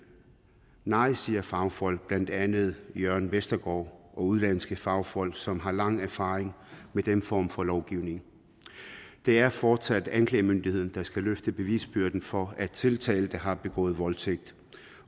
nej siger fagfolk blandt andet jørgen vestergaard og udenlandske fagfolk som har lang tids erfaring med den form for lovgivning det er fortsat anklagemyndigheden der skal løfte bevisbyrden for at tiltalte har begået voldtægt